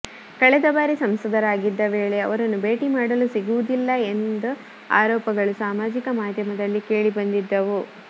ಕಳೆದ ಬಾರಿ ಸಂಸದರಾಗಿದ್ದ ವೇಳೆ ಅವರನ್ನು ಭೇಟಿ ಮಾಡಲು ಸಿಗುವುದಿಲ್ಲ ಎಂಹ ಆರೋಪಗಳು ಸಾಮಾಜಿಕ ಮಾಧ್ಯಮಗಳಲ್ಲಿ ಕೇಳಿ ಬಂದಿದ್ದವು